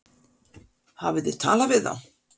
Hafið þið talað við þá?